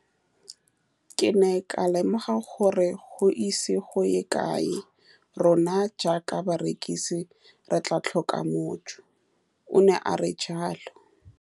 Ke ne ka lemoga gore go ise go ye kae rona jaaka barekise re tla tlhoka mojo, o ne a re jalo.